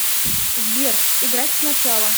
сбер играть сначала